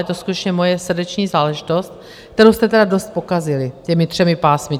Je to skutečně moje srdeční záležitost, kterou jste tedy dost pokazili těmi třemi pásmy.